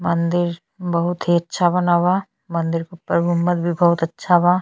मंदिर बहुत ही अच्छा बना बा। मंदिर पैगम्बर भी बहुत अच्छा बा।